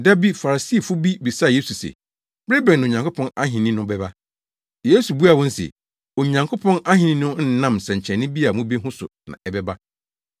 Da bi Farisifo bi bisaa Yesu se, “Bere bɛn na Onyankopɔn ahenni no bɛba?” Yesu buaa wɔn se, “Onyankopɔn ahenni no nnam nsɛnkyerɛnne bi a mubehu so na ɛbɛba,